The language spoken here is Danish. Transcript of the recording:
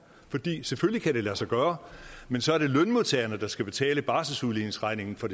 selvfølgelig kan det lade sig gøre men så er det lønmodtagerne der skal betale barselsudligningsregningen for